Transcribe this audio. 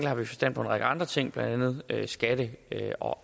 har vi forstand på en række andre ting blandt andet skatte